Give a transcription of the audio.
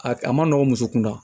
A a ma nɔgɔn muso kunda